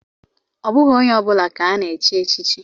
Ọ bụghị onye ọ bụla ka ana-echi echichi.